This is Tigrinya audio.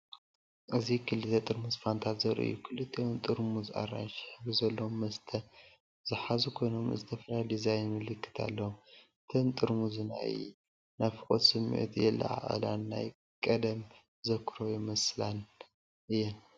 እዚ ክልተ ጥርሙዝ ፋንታ ዘርኢ እዩ። ክልቲኦም ጥርሙዝ ኣራንሺ ሕብሪ ዘለዎ መስተ ዝሓዙ ኮይኖም ዝተፈላለየ ዲዛይን ምልክት ኣለዎም። እተን ጥርሙዝ ናይ ናፍቖት ስምዒት የለዓዕላን ናይ ቀደም ተዘክሮታት ይመልሳን እየን።